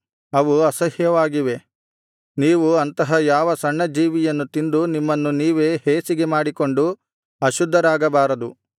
ನೀವು ಅಂತಹ ಯಾವ ಸಣ್ಣ ಜೀವಿಯನ್ನು ತಿಂದು ನಿಮ್ಮನ್ನು ನೀವೇ ಹೇಸಿಗೆಮಾಡಿಕೊಂಡು ಅಶುದ್ಧರಾಗಬಾರದು